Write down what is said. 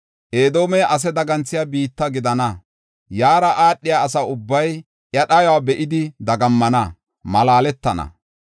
“Edoomey ase daganthiya biitta gidana. Yaara aadhiya asa ubbay iya dhayuwa be7idi, dagammana; malaaletana.